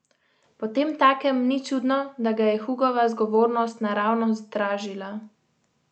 Potemtakem ni čudno, da ga je Hugova zgovornost naravnost dražila.